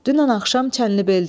Dünən axşam Çənlibeldə idi.